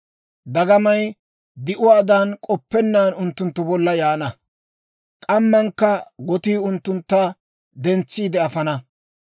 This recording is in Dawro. Dagamay di'uwaadan k'oppennaan unttunttu bolla yaana; k'ammankka gotii unttuntta dentsiide afana.